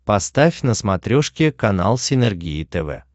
поставь на смотрешке канал синергия тв